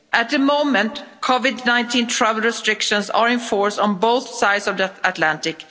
At the moment, COVID 19 travel restrictions are in force on both sides of the Atlantic.